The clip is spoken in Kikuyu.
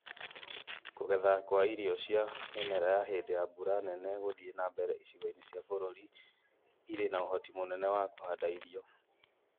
Ku͂getha kwa irio cia mi͂mera ya hi͂ndi͂ ya mbura nene gu͂gi͂thii͂ na mbere icigo-ini͂ cia bu͂ru͂ri iri͂ na u͂hoti mu͂nene wa ku͂handa irio.